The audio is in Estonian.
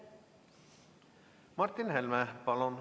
Martin Helme, palun!